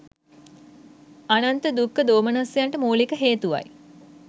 අනන්ත දුක්ඛ දෝමනස්සයන්ට මූලික හේතුවයි